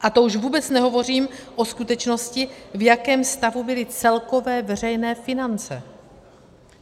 A to už vůbec nehovořím o skutečnosti, v jakém stavu byly celkové veřejné finance.